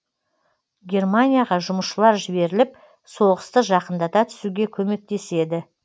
германияға жұмысшылар жіберіліп соғысты жақындата түсуге көмектеседі